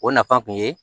O nafa kun ye